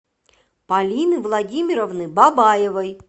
полины владимировны бабаевой